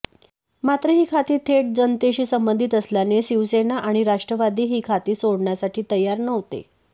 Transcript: मात्र ही खाती थेट जनतेशी संबंधित असल्याने शिवसेना आणि राष्ट्रवादी ही खाती सोडण्यासाठी तयार नव्हते